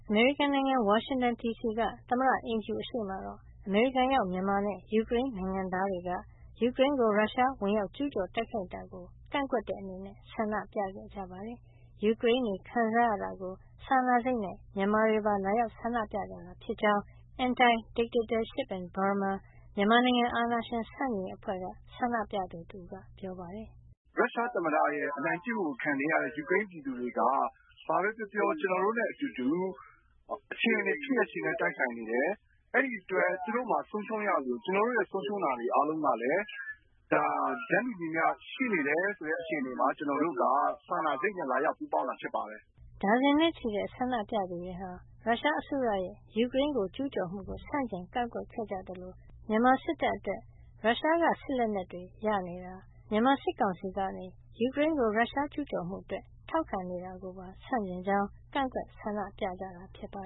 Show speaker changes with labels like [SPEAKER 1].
[SPEAKER 1] မေရိကန်နိုင်ငံ ဝါရှင်တန်ဒီစီက သမ္မတအိမ်ဖြူအရှေ့မှာတော့ အမေရိကန်ရောက် မြန်မာနဲ့ ယူကရိန်းနိုင်ငံသားတွေက ယူကရိန်းကို ရုရှားက ဝင်ရောက်ကျူးကျော် တိုက်ခိုက်တာကို ကန့်ကွက်တဲ့အနေနဲ့ ဆန္ဒပြခဲ့ကြပါတယ်။ ယူကရိန်းတွေ ခံစားရတာကို စာနာစိတ်နဲ့ မြန်မာတွေပါ လာရောက်ဆန္ဒပြကြတာ ဖြစ်ကြောင်း Anti Dictatorship in Burma မြန်မာနိုင်ငံ- အာဏာရှင်ဆန့်ကျင်ရေးအဖွဲ့က ဆန္ဒပြသူတဦးက ပြောပါတယ်
[SPEAKER 2] ။ “ရုရှားသမ္မတရဲ့ အနိုင်ကျင့်မှုကို ခံနေရတဲ့ ယူကရိန်းပြည်သူတွေဟာ ဘာပဲပြောပြော ကျနော်တို့နဲ့အတူတူ၊ အခြေနေ ဖြစ်ရပ်ချင်းလည်း တိုက်ဆိုင်နေတယ်။ အဲဒီအတွက် သူတို့မှာ ဆုံးရှုံးရသလို ကျနော်တို့ရဲ
[SPEAKER 3] ့ ဆုံးရှုံးရတာတွေ အားလုံးကလည်း ဒါ တန်းတူညီမျှ ရှိနေတယ်ဆိုတဲ့ အခြေအနေမှာ ကျနော်တို့က စာနာစိတ်နဲ့ လာရောက်ပူးပေါင်းတာ ဖြစ်ပါတယ်
[SPEAKER 1] ။” ဒါဇင်နဲ့ချီတဲ့ ဆန္ဒပြသူတွေဟာ ရုရှားအစိုးရရဲ့ ယူကရိန်းကို ကျူးကျော်မှုကို ဆန့်ကျင် ကန့်ကွက်ခဲ့ကြသလို မြန်မာစစ်တပ်အတွက် ရုရှားက စစ်လက်နက်တွေ ရရှိနေတာ၊ မြန်မာစစ်ကောင်စီကနေ ယူကရိန်းကို ရုရှားကျူးကျော်မှုအတွက် ထောက်ခံနေတာကိုပါ ဆန့်ကျင်ကြောင်း ကန့်ကွက် ဆန္ဒပြခဲ့ကြတာပါ